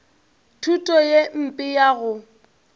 thuto ye mpe ya go